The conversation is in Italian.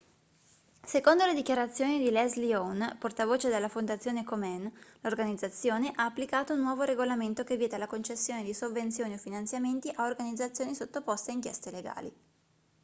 secondo le dichiarazioni di leslie aun portavoce della fondazione komen l'organizzazione ha applicato un nuovo regolamento che vieta la concessione di sovvenzioni o finanziamenti a organizzazioni sottoposte a inchieste legali